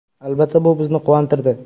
Albatta, bu bizni quvontirdi.